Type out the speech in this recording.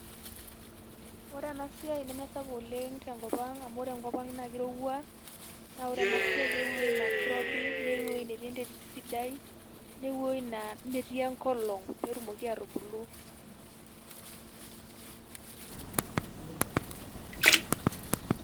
Ore enasiai neme sapuk oleng' tenkop ang' amu ore enkop ang' na kirowua, na ore enasiai na keyieu eoi na kirobi, neyieu ewueji netii enterit sidai, neyieu eoi naa metii enkolong',petumoki atubulu.[]